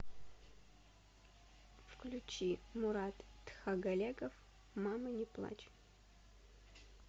включи мурат тхагалегов мама не плачь